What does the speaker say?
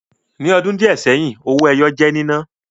Ní ọdún díẹ̀ seyin, owó ẹyọ jẹ́ nínà